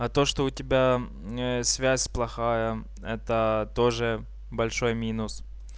а то что у тебя связь плохая это тоже большой минус